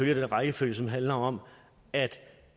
i den rækkefølge som handler om at